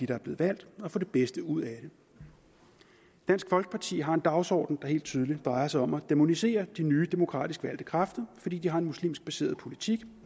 der er blevet valgt og få det bedste ud af det dansk folkeparti har en dagsorden der helt tydeligt drejer sig om at dæmonisere de nye demokratisk valgte kræfter fordi de har en muslimsk baseret politik